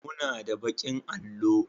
muna da bakin allo